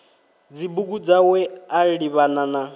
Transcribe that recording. dzibugu dzawe a livhana na